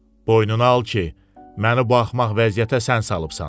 Boynuna al ki, məni bu axmaq vəziyyətə sən salıbsan.